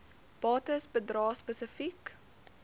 bates bedrae spesifiek